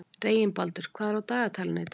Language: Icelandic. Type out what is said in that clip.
Reginbaldur, hvað er á dagatalinu í dag?